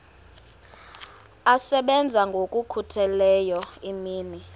asebenza ngokokhutheleyo imini